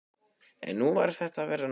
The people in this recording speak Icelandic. En nú fer þetta að verða nóg.